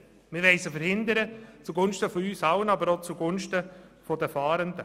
Wir wollen diese zugunsten von uns allen verhindern, aber auch zugunsten der Fahrenden.